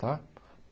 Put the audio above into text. Tá?